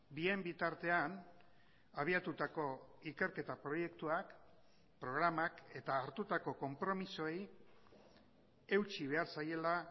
bien bitartean habiatutako ikerketa proiektuak programak eta hartutako konpromisoei eutsi behar zaiela